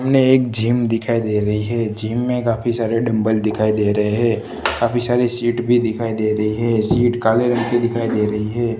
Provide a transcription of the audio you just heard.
सामने एक जिम दिखाई दे रही है जिम में काफी सारे डंबल दिखाई दे रहे है काफी सारे सीट भी दिखाई दे रही है सीट काले रंग की दिखाई दे रही है।